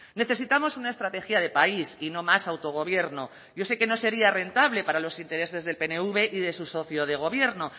necesitamos una estrategia de país y no más autogobierno yo sé que no sería rentable para los intereses del pnv y de su socio de gobierno